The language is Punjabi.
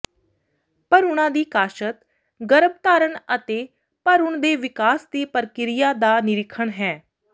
ਭਰੂਣਾਂ ਦੀ ਕਾਸ਼ਤ ਗਰੱਭਧਾਰਣ ਅਤੇ ਭਰੂਣ ਦੇ ਵਿਕਾਸ ਦੀ ਪ੍ਰਕਿਰਿਆ ਦਾ ਨਿਰੀਖਣ ਹੈ